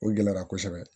O gɛlɛyara kosɛbɛ